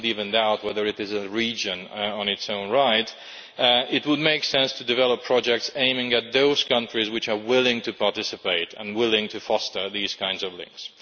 Some would even doubt whether it is a region in its own right. It would make sense to develop projects aimed at those countries which are willing to participate and willing to foster these kinds of links.